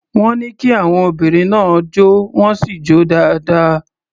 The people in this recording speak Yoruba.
Wọ́n ní kí àwon obìnrin náà jó, wọ́n sì jó dáadáa.